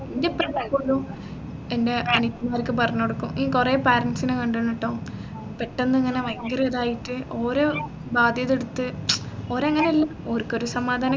എൻെറ ഉപ്പ എപ്പോഴും എൻെറ അനിയത്തിമാർക്ക് പറഞ്ഞുകൊടുക്കും കുറെ parents നെ കണ്ടേനേട്ടോ പെട്ടെന്ന് ഇങ്ങനെ ഭയങ്കര ഇതായിട്ട് ഓര് ബാധ്യത എടുത്ത് ഓരങ്ങനെ അല്ല ഓർക്കൊരു സമാധാനം